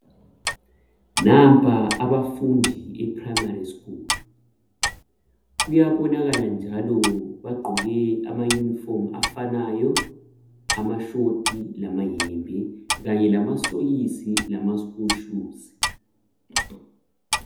Nampa abafundi beprimary school. Kuyabonakala njalo bagqoke amayunifomu afanayo amashoti lamayembe kanye lamasokisi lama school shuzi.